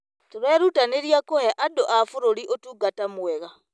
Tũrerutanĩria kũhe andũ a bũrũri ũtungata mwega.